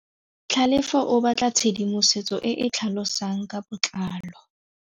Tlhalefô o batla tshedimosetsô e e tlhalosang ka botlalô.